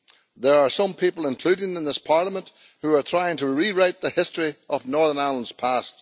There are some people, including in this Parliament, who are trying to rewrite the history of Northern Ireland's past.